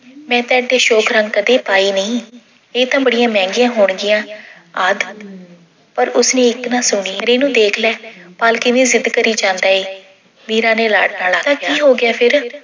ਮੈਂ ਤਾਂ ਏਡੇ ਅਸ਼ੋਕ ਰੰਗ ਕਦੇ ਪਾਏ ਨਹੀਂ, ਇਹ ਤਾਂ ਬੜੀਆਂ ਮਹਿੰਗੀਆਂ ਹੋਣਗੀਆਂ ਆਦਿ। ਪਰ ਉਸਨੇ ਇੱਕ ਨਾ ਸੁਣੀ ਰੇਨੂੰ ਦੇਖ ਲੈ, ਪਾਲ ਕਿਵੇਂ ਜਿੱਦ ਕਰੀ ਜਾਂਦਾ ਏ। ਮੀਰਾ ਨੇ ਨਾਲ ਆਖਿਆ। ਤਾਂ ਕੀ ਹੋ ਗਿਆ ਫਿਰ